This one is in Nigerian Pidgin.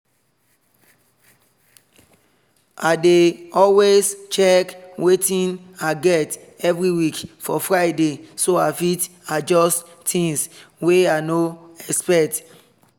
i dey always check watin i get everyweek for friday so i fit adjust things wey i no expect